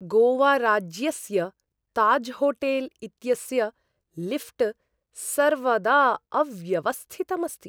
गोवाराज्यस्य ताज्होटेल् इत्यस्य लिऴ्ट् सर्वदा अव्यवस्थितम् अस्ति।